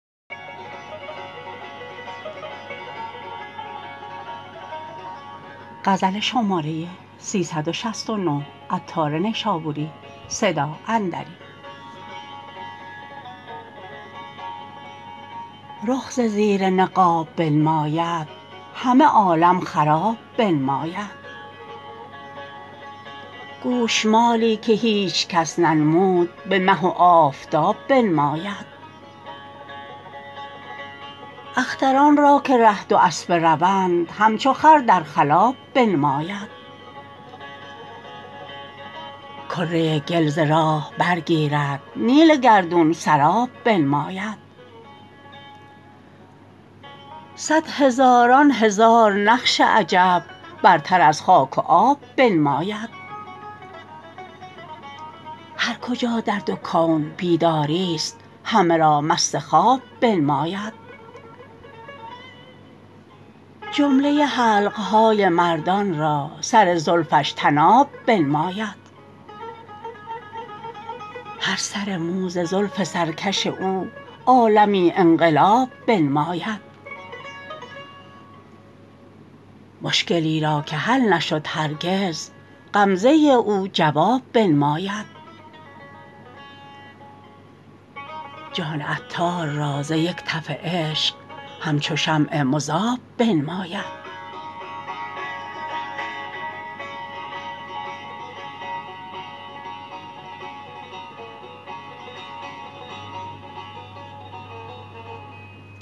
رخ ز زیر نقاب بنماید همه عالم خراب بنماید گوشمالی که هیچکس ننمود به مه و آفتاب بنماید اختران را که ره دو اسبه روند همچو خر در خلاب بنماید کره گل ز راه برگیرد نیل گردون سراب بنماید صد هزاران هزار نقش عجب برتر از خاک و آب بنماید هرکجا در دو کون بیداری است همه را مست خواب بنماید جمله حلق های مردان را سر زلفش طناب بنماید هر سر مو ز زلف سرکش او عالمی انقلاب بنماید مشکلی را که حل نشد هرگز غمزه او جواب بنماید جان عطار را ز یک تف عشق همچو شمع مذاب بنماید